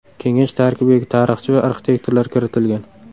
Kengash tarkibiga tarixchi va arxitektorlar kiritilgan.